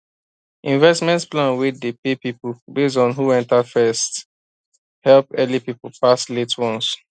investment plan wey dey pay people based on who enter first help early people pass late ones